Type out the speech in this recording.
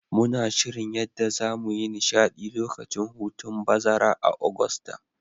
Muna shirin yadda zamu yi nishadi lokacin hutun bazara a'Augusta.